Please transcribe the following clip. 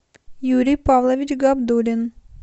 юрий павлович габдуллин